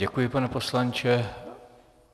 Děkuji, pane poslanče.